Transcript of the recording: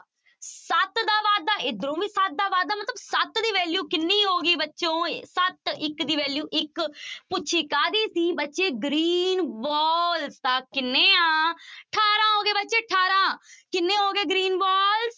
ਸੱਤ ਦਾ ਵਾਧਾ ਇੱਧਰੋਂ ਵੀ ਸੱਤ ਦਾ ਵਾਧਾ ਮਤਲਬ ਸੱਤ ਦੀ value ਕਿੰਨੀ ਹੋ ਗਈ ਬੱਚੋਂ, ਸੱਤ ਇੱਕ ਦੀ value ਇੱਕ ਪੁੱਛੀ ਕਾਹਦੀ ਸੀ ਬੱਚੇ green ball ਤਾਂ ਕਿੰਨੇ ਆਂ ਅਠਾਰਾਂ ਹੋ ਗਏ ਬੱਚੇ ਅਠਾਰਾਂ, ਕਿੰਨੇ ਹੋ ਗਏ green ball